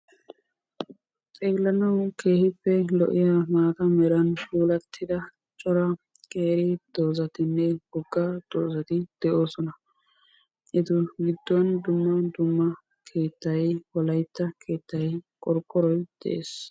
Xeellanawu keehippe lo'iya maata meran puulattida cora qeeri doozatinne wogga doozati de'oosona. Etu giddon dumma dumma keettay, wolaytta keettay, qorqqoroy dees.